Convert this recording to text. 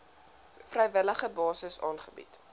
vrywillige basis aangebied